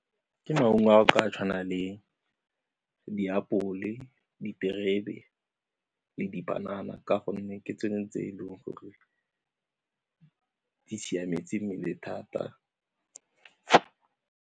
Ke maungo a a tshwanang le diapole, diterebe le dipanana ka gonne ke tsone tse e leng gore di siametse mmele thata.